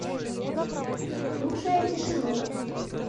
слушая тишину